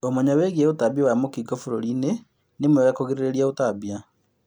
Ũmenyo wĩĩgiĩ ũtambia wa mũkingo bũrũri inĩ nĩ mwega kũgirĩrĩrĩa ũtambia